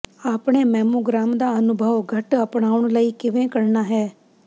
ਆਪਣੇ ਮੈਮੋਗ੍ਰਾਮ ਦਾ ਅਨੁਭਵ ਘੱਟ ਅਪਣਾਉਣ ਲਈ ਕਿਵੇਂ ਕਰਨਾ ਹੈ